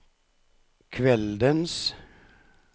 kveldens